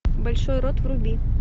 большой рот вруби